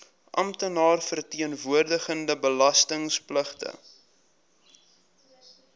amptenaar verteenwoordigende belastingpligtige